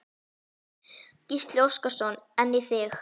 Gísli Óskarsson: En í þig?